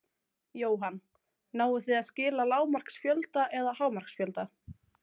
Jóhann: Náið þið að skila lágmarksfjölda eða hámarksfjölda?